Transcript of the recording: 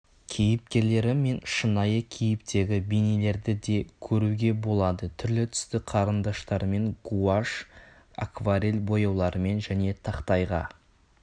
кейіпкерлері мен шынайы кейіптегі бейнелерді де көруге болады түрлі-түсті қарындаштармен гуашь акварель бояуларымен және тақтайға